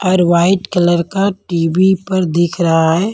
और white colour का TV_ पर दिख रहा है।